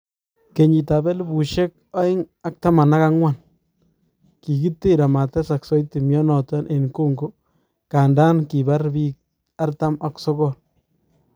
kenyitap elipusiek aeng ak taman ak angwan, kigiter amatesag saiti mianoton en Kongo kandan kipaar piik artam ak sogool